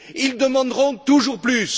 Ils demanderont toujours plus.